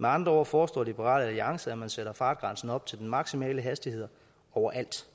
med andre ord foreslår liberal alliance at man sætter fartgrænsen op til maksimal hastighed overalt